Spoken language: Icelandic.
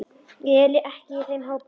Ég er ekki í þeim hópi.